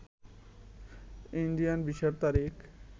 Indian ভিসার তারিখ